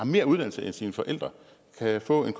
mere uddannelse end sine forældre kan jeg få en